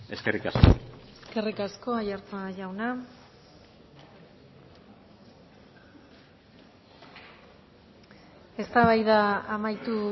eskerrik asko eskerrik asko aiartza jauna eztabaida amaitu